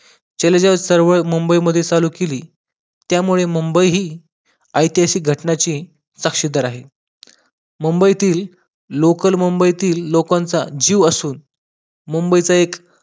चलेजाव चळवळ मुंबई मध्ये सुरु केली त्यामुडे मुंबई हि ऐतिहासिक घटनांची साक्षीदार आहे मुंबईतील लोकल मुंबईतील लोकांचा जीव असून मुंबईचा एक